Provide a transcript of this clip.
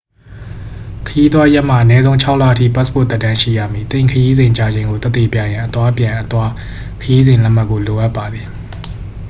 ခရီးသွားရက်မှ အနည်းဆုံး ၆ လအထိ ပတ်စ်ပို့သက်တမ်း ရှိရမည်။ သင့်ခရီးစဉ် ကြာချိန်ကို သက်သေပြရန် အသွားအပြန်/အသွား ခရီးစဉ်လက်မှတ်ကို လိုအပ်ပါသည်။